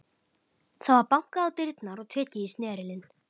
Það var bankað á dyrnar og tekið í snerilinn.